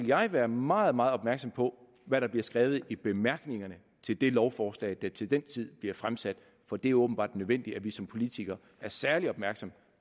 jeg være meget meget opmærksom på hvad der bliver skrevet i bemærkningerne til det lovforslag der til den tid bliver fremsat for det er åbenbart nødvendigt at vi som politikere er særlig opmærksom